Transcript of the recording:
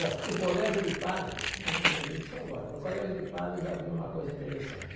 Bom, no colégio de padres, me me lembrei disso agora, no colégio de padres havia uma coisa interessante.